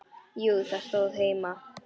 Jú, það stóð heima.